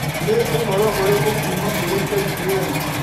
Nĩ ũhoro ũrĩkũ kuuma kũrĩ k. t. n.